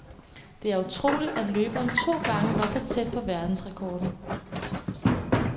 Det er utroligt, at løberen to gange var så tæt på verdensrekorden.